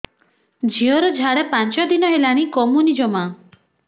ଝିଅର ଝାଡା ପାଞ୍ଚ ଦିନ ହେଲାଣି କମୁନି ଜମା